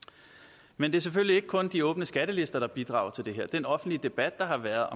men det er selvfølgelig ikke kun de åbne skattelister der bidrager til det her den offentlige debat der har været